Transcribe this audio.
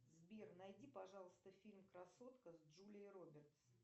сбер найди пожалуйста фильм красотка с джулией робертс